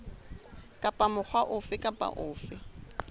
kapa mokga ofe kapa ofe